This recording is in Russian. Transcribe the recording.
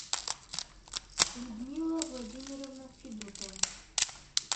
людмила владимировна федотова